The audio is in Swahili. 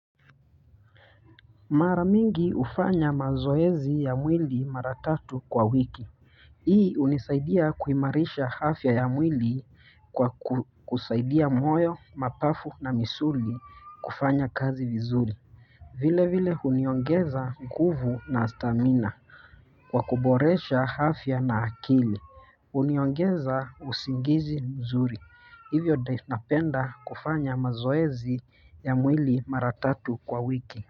Mara mingi hufanya mazoezi ya mwili mara tatu kwa wiki. Hii hunisaidia kuimarisha afya ya mwili kwa kusaidia moyo, mapafu na misuli kufanya kazi vizuri vile vile huniongeza nguvu na stamina kwa kuboresha afya na akili. Huniongeza usingizi mzuri. Hivyo napenda kufanya mazoezi ya mwili mara tatu kwa wiki.